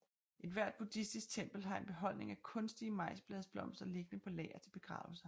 Ethvert buddhistisk tempel har en beholdning af kunstige majsbladsblomster liggende på lager til begravelser